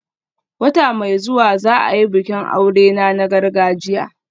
Wata mai zuwa za a yi bikin aurena na gargajiya